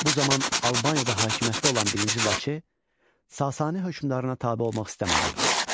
Bu zaman Albaniyada hakimiyyətdə olan birinci Vaçe, Sasani hökmdarına tabe olmaq istəmədi.